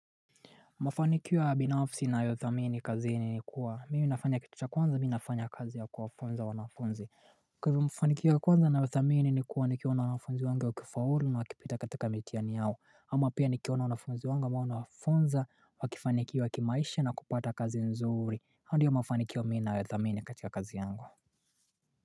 Mafanikio ya binafsi na yothamini kazi ni nikuwa mimi nafanya kitu cha kwanza mimi nafanya kazi ya kuwafunza wanafunzi Kwa hivyo mafanikio ya kwanza na yothamini ni kuwa nikiona wanafunzi wangu wakifaulu na wakipita katika mitiani yao ama pia nikiona wanafunzi wangu ambao nawafunza wakifanikiwa kimaisha na kupata kazi nzuri hayo ndo ya mafanikio mi na yothamini katika kazi yangu.